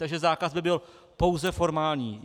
Takže zákaz by byl pouze formální.